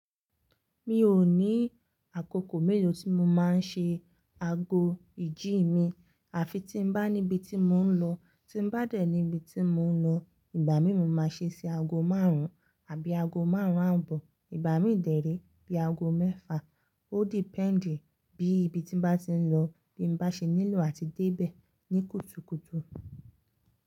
Mi ò ní àkókò mélòó tí mo máa ń ṣe ago ìjí mi, àfi tí n bá níbi tí mò ń lọ, tí n bá dẹ̀ níbi tí mò ń lọ, ìgbà mí mo máa ṣe ṣe ago márùn-ún, àbí ago márùn-ún ààbò, ìgbà mi dèré bí ago mẹ́fà, ó depend bí ibi tí n bá ti ń lọ, bí n bá ṣe nílò àti débẹ̀ ní kùtùkùtù.